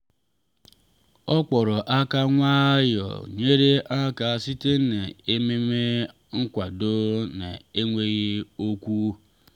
ọ kpọrọ aka nwayọọ nyere aka site n’ememe nkwado n’enweghị okwu.